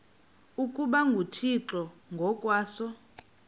ukuba nguthixo ngokwaso